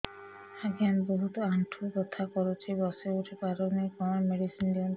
ଆଜ୍ଞା ବହୁତ ଆଣ୍ଠୁ ବଥା କରୁଛି ବସି ଉଠି ପାରୁନି କଣ ମେଡ଼ିସିନ ଦିଅନ୍ତୁ